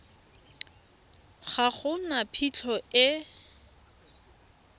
ga go na phitlho e